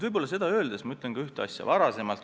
Ma ütlen veel ühte asja.